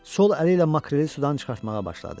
Sol əli ilə makreli sudan çıxartmağa başladı.